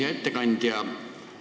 Hea ettekandja!